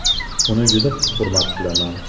Uni juda hurmat qilaman.